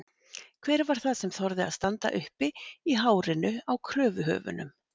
Hver var það sem þorði að standa uppi í hárinu á kröfuhöfunum?